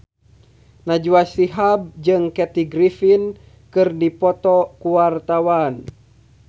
Najwa Shihab jeung Kathy Griffin keur dipoto ku wartawan